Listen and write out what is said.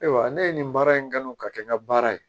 Ayiwa ne ye nin baara in kanu ka kɛ n ka baara ye